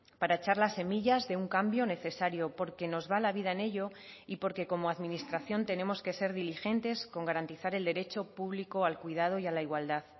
para echar las semillas de un cambio necesario porque nos va la vida en ello y porque como administración tenemos que ser diligentes con garantizar el derecho público al cuidado y a la igualdad